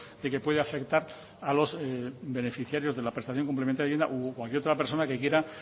de que puede afectar a los beneficiarios de la prestación complementaria de vivienda o cualquier otra persona que quiera